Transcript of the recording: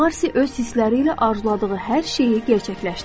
Marsi öz hissləri ilə arzuladığı hər şeyi gerçəkləşdirir.